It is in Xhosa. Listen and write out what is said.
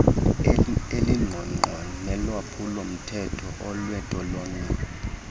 elingqongqo nelolwaphulomthetho lwentolongo